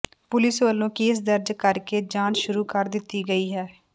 police ਵੱਲੋਂ case ਦਰਜ ਕਰ ਕੇ ਜਾਂਚ ਸ਼ੁਰੂ ਕਰ ਦਿੱਤੀ ਗਈ ਹੈ